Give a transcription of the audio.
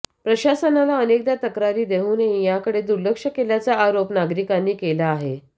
प्रशासनाला अनेकदा तक्रारी देऊनही याकडे दुर्लक्ष केल्याचा आरोप नागरिकांनी केला आहे